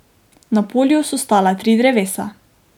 Na polju so stala tri drevesa.